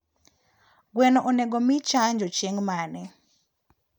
gweno onego mii chanjo chieng mane?